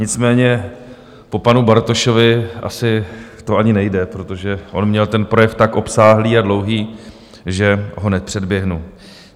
Nicméně po panu Bartošovi asi to ani nejde, protože on měl ten projev tak obsáhlý a dlouhý, že ho nepředběhnu.